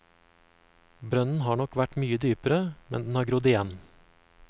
Brønnen har nok vært mye dypere, men den har grodd igjen.